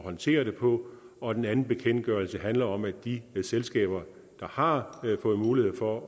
håndtere det på og den anden bekendtgørelse handler om at de selskaber der har fået mulighed for